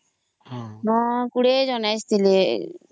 20 ଜଣ ଆସିଥିଲେ